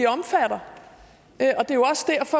omfatter